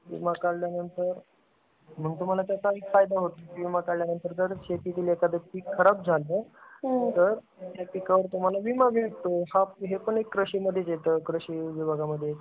विमा काढल्या नंतर, मग तुम्हाला त्याचा फायदा होतो. विमा काढल्या नंतर जर शेतीतील एखादा पीक खराब झाला तर त्या पिकावर तुम्हाला विमा मिळतो. हा हे पण अल्क कृषी मधेच येत. कृषी विभागामध्ये.